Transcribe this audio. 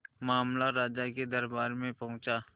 मामला राजा के दरबार में पहुंचा